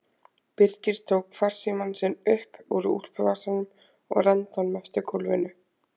Birkir tók farsímann sinn upp úr úlpuvasanum og renndi honum eftir gólfinu.